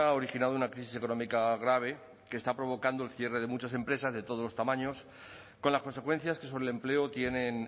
originado una crisis económica grave que está provocando el cierre de muchas empresas de todos los tamaños con las consecuencias que sobre el empleo tienen